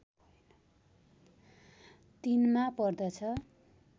३ मा पर्दछ